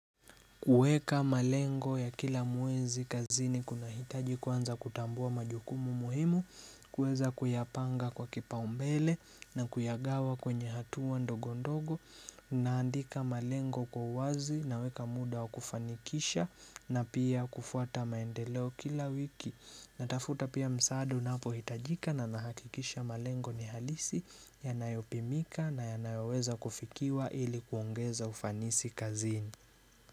Kuweka malengo ya kila mwezi kazini kunahitaji kwanza kutambua majukumu muhimu, kuweza kuyapanga kwa kipa umbele na kuyagawa kwenye hatua ndogo ndogo, naandika malengo kwa uwazi naweka muda wa kufanikisha na pia kufuata maendeleo kila wiki. Natafuta pia msaada unapohitajika na nahakikisha malengo ni halisi yanayopimika na yanayoweza kufikiwa ili kuongeza ufanisi kazini.